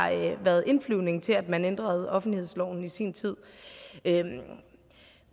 været indflyvningen til at man ændrede offentlighedsloven i sin tid